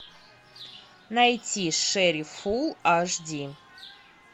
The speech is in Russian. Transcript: найти шерифул аш ди